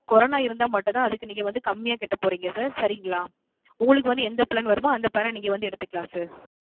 Corona இருந்தா மட்டும் தான் அதுக்கு நீங்க வந்து கம்மிய கட்ட போறிங்க Sir சரிங்களா உங்களுக்கு வந்து எந்த Plan வருமோ அந்த Plan அ நீங்க வந்து எடுத்துக்கலாம் Sir